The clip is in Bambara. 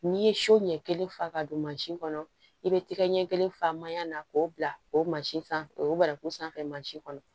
N'i ye so ɲɛ kelen fa ka don mansin kɔnɔ i bɛ tɛgɛ ɲɛ kelen fa manyan na k'o bila o sanfɛ o baraku sanfɛ mansi kɔnɔ